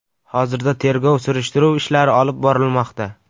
Hozirda tergov-surishtiruv ishlari olib borilmoqda.